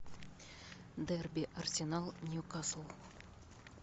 дерби арсенал ньюкасл